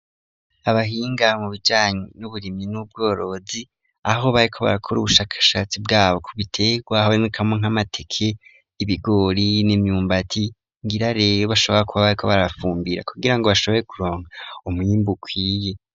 Abahinga mu bijyanyi n'uburimyi n'ubworozi aho bariko barakora ubushakashatsi bwabo ku bitegwa hariko harabonekamwo nk'amateke ,ibigori n'imyumbati ngira rero bashobora kuba bari ko barafumbira kugira ngo bashobore kuronka umwimbo ukwiye.